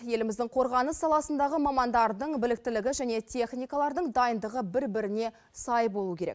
еліміздің қорғаныс саласындағы мамандардың біліктілігі және техникалардың дайындығы бір біріне сай болуы керек